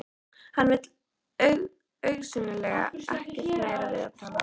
Hann vill augsýnilega ekkert meira við hana tala.